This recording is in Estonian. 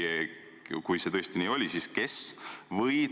Kui see tõesti nii oli, siis kes?